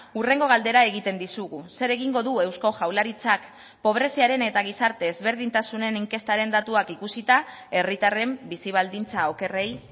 hurrengo galdera egiten dizugu zer egingo du eusko jaurlaritzak pobreziaren eta gizarte ezberdintasunen inkestaren datuak ikusita herritarren bizi baldintza okerrei